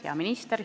Hea minister!